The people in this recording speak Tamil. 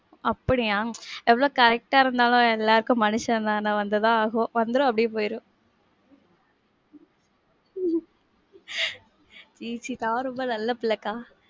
அப்படியா? எவ்வளவு correct ஆ இருந்தாலும், எல்லாருக்கும் மனுஷன் தான வந்து தான் ஆகும். வந்துரும், அப்படியே போயிரும். .